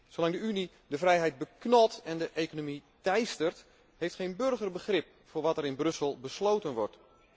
Zolang de Unie de vrijheid beknot en de economie teistert heeft geen burger begrip voor wat er in Brussel besloten wordt.